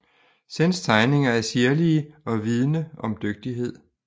Senns tegninger er sirlige og vidne om dygtighed